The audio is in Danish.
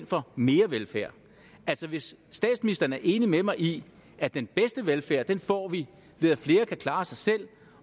for mere velfærd hvis statsministeren er enig med mig i at den bedste velfærd får vi ved at flere kan klare sig selv